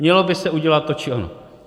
Mělo by se udělat to či ono.